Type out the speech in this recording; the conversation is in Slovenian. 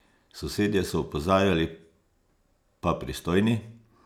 Sosedje so opozarjali, pa pristojni?